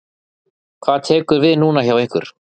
Hvað tekur við núna hjá ykkur?